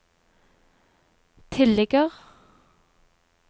tilligger